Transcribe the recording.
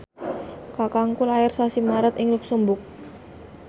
kakangku lair sasi Maret ing luxemburg